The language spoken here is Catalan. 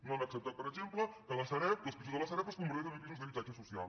no han acceptat per exemple que els pisos de la sareb es converteixin en pisos d’habitatge social